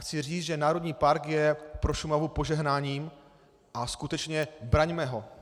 Chci říct, že národní park je pro Šumavu požehnáním a skutečně, braňme ho.